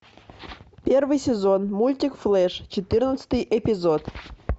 первый сезон мультик флэш четырнадцатый эпизод